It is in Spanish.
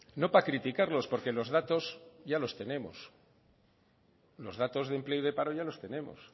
no para criticarlos porque los datos ya los tenemos los datos de paro y empleo ya los tenemos